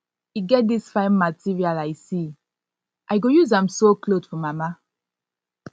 e get dis fine material i see i go use am sew cloth for mama